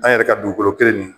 An yɛrɛ ka dugukolo kelen nin